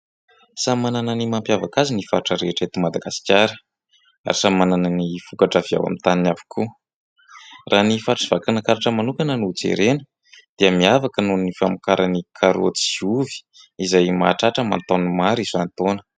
Samy manana ny mampiavaka azy ny faritra rehetra eto Madagasikara ary samy manana ny vokatra avy ao amin'ny taniny avokoa. Raha ny faritr'i Vakinakaratra manokana no jerena dia miavaka noho ny famokarany karaoty sy ovy izay mahatratra aman-taonina maro isan-taona.